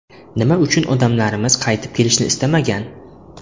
Nima uchun odamlarimiz qaytib kelishni istamagan?